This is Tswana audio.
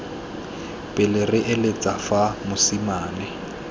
pele re eletsa fa mosimane